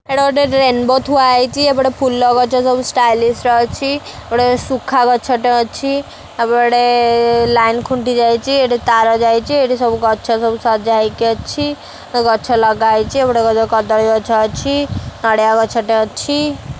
ଏଇଟା ଗୋଟେ ରେନବୋ ଥୁଆ ହେଇଚି ଏପଟେ ଗୋଟେ ଫୁଲ ଗଛ ସବୁ ଷ୍ଟାଇଲିସ୍ ର ଅଛି ଗୋଟେ ଶୁଖା ଗଛ ଟେ ଅଛି ଏପଟେ ଲାଇନ୍ ଖୁଣ୍ଟି ଯାଇଚି ଏଠି ତାର ଯାଇଚି ଏଠି ସବୁ ଗଛ ସବୁ ସଜା ହେଇକି ଅଛି ଓ ଗଛ ଲଗା ହେଇଚି ଏପଟେ କଦଳୀ ଗଛ ଅଛି ନଡିଆ ଗଛ ଟେ ଅଛି।